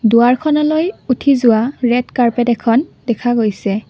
দুৱাৰখনলৈ উঠি যোৱা red carpet এখন দেখা গৈছে।